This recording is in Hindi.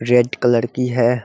रेड कलर की है।